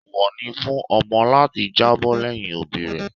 Eewọ ni fún ọmọ láti jábọ́ lẹ́yìn òbí rẹ̀.